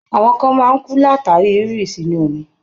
Àwọn kan máa ń kú látàrí rírí sínú omi.